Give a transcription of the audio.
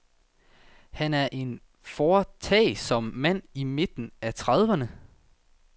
Han er en foretagsom mand i midten af trediverne.